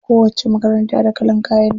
Kowacce makaranta da kalan kayan ta.